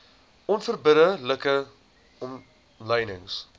onverbidde like omlynings